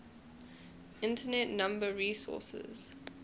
internet number resources